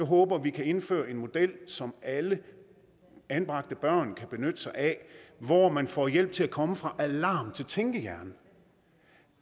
håber vi kan indføre en model som alle anbragte børn kan benytte sig af hvor man får hjælp til at komme fra alarm til tænkehjerne